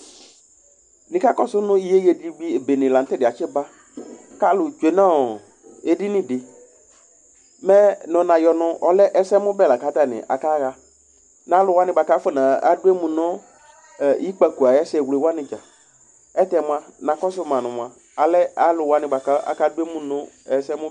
Nika kɔsʋ nʋ iyeye dɩ bene la nʋ tʋ ɛdɩyɛ atsiba, kʋ alulu tsue nʋ edini dɩ Mɛ nɔ nayɔ nʋ ɔlɛ ɛsɛmʋbɛ lakʋ atani akaɣa, nʋ alu wani bʋakʋ afɔna duemu nʋ ikpǝko ayʋ ɛsɛwle wani dza Ayʋ ɛlʋtɛ na kɔsʋ ma nʋ mʋa alɛ alu wani bʋakʋ aka du emu nʋ ɛsɛmʋ